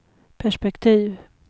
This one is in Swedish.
perspektiv